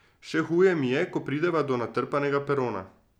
Še huje mi je, ko prideva do natrpanega perona.